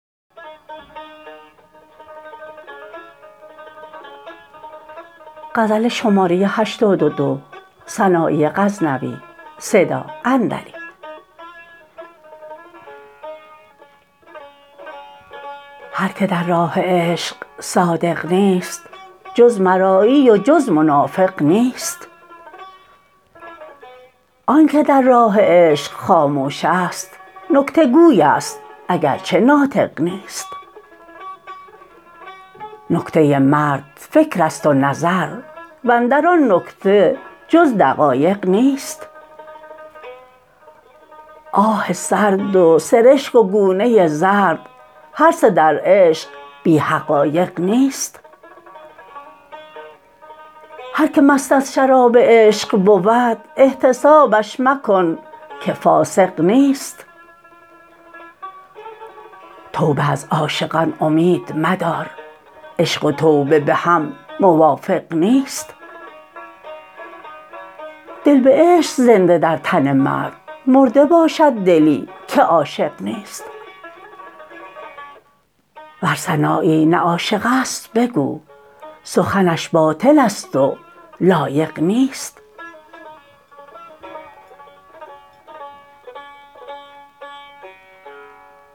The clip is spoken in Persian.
هر که در راه عشق صادق نیست جز مرایی و جز منافق نیست آنکه در راه عشق خاموش است نکته گوی است اگر چه ناطق نیست نکته مرد فکرت است و نظر وندر آن نکته جز دقایق نیست آه سرد و سرشک و گونه زرد هر سه در عشق بی حقایق نیست هر که مست از شراب عشق بود احتسابش مکن که فاسق نیست توبه از عاشقان امید مدار عشق و توبه بهم موافق نیست دل به عشق است زنده در تن مرد مرده باشد دلی که عاشق نیست ور سنایی نه عاشق است بگو سخنش باطل است و لایق نیست